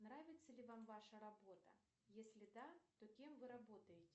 нравится ли вам ваша работа если да то кем вы работаете